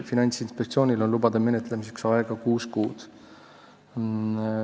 Finantsinspektsioonil on lubade menetlemiseks aega kuus kuud.